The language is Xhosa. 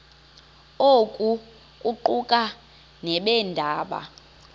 oku kuquka nabeendaba